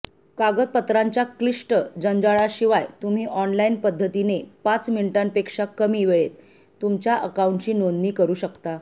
कागदपत्रांच्या क्लिष्ट जंजाळाशिवाय तुम्ही ऑनलाइन पद्धतीने पाच मिनिटांपेक्षा कमी वेळेत तुमच्या अकाऊंटची नोंदणी करू शकता